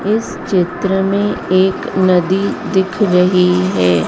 इस चित्र में एक नदी दिख रही है।